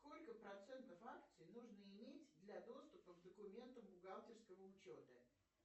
сколько процентов акций нужно иметь для доступа к документам бухгалтерского учета